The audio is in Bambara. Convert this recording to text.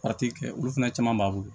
kɛ olu fana caman b'a bolo